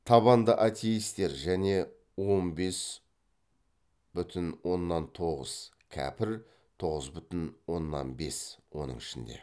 табанды атеистер және он бес бүтін оннан тоғыз кәпір тоғыз бүтін оннан бес оның ішінде